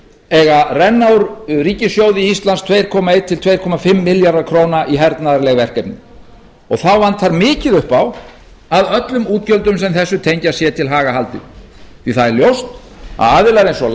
eiga renna úr ríkissjóði íslands tvö komma eitt til tvö komma fimm milljarðar króna í hernaðarleg verkefni þá vantar mikið upp á að öllum útgjöldum sem þessu tengjast sé til haga haldið því það er ljóst að aðilar eins og